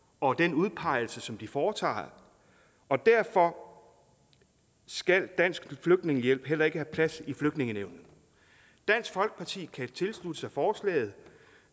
og den udpegelse som de foretager og derfor skal dansk flygtningehjælp heller ikke have plads i flygtningenævnet dansk folkeparti kan tilslutte sig forslaget